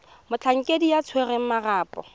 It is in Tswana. motlhankedi yo o tshwereng marapo